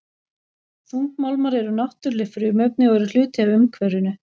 Þungmálmar eru náttúruleg frumefni og eru hluti af umhverfinu.